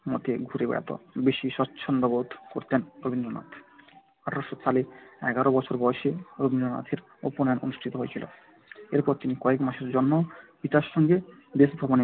পরিবেশের মধ্যে ঘুরে বেড়াতে বেশি স্বচ্ছন্দবোধ করতেন রবীন্দ্রনাথ। এক হাজার আঠারোশো সালে এগারো বছর বয়সে রবীন্দ্রনাথের উপনয়ন অনুষ্ঠিত হয়েছিল। এরপর তিনি কয়েক মাসের জন্য পিতার সঙ্গে দেশভ্রমণে